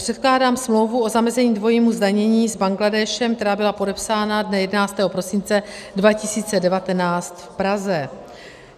Předkládám smlouvu o zamezení dvojímu zdanění s Bangladéšem, která byla podepsána dne 11. prosince 2019 v Praze.